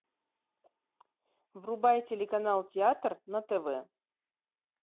врубай телеканал театр на тв